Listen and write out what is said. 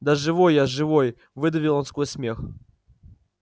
да живой я живой выдавил он сквозь смех